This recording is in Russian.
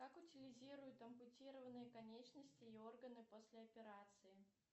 как утилизируют ампутированные конечности и органы после операции